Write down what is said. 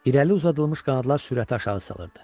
İrəli uzadılmış qanadlar sürəti aşağı salırdı.